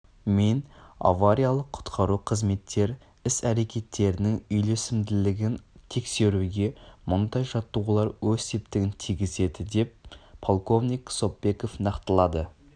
мен авариялық-құтқару қызметтер іс-әрекеттерінің үйлесімділігін тексеруге мұндай жаттығулар өз септігін тигізеді деп полковник сопбеков нақтылады